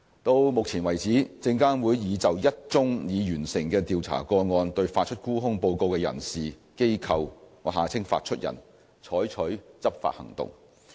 到目前為止，證監會已就一宗已完成的調查個案對發出沽空報告的人士/機構採取執法行動。